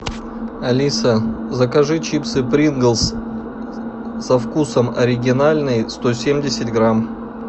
алиса закажи чипсы принглс со вкусом оригинальный сто семьдесят грамм